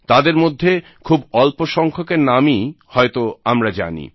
তাদের মধ্যে খুব অল্প সংখ্যকের নামই হয়তো আমরা জানি